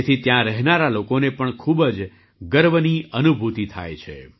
તેથી ત્યાં રહેનારા લોકોને પણ ખૂબ જ ગર્વની અનુભૂતિ થાય છે